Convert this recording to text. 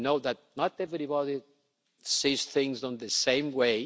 I know that not everybody sees things in the same way.